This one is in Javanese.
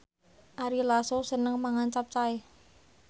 Ari Lasso seneng mangan capcay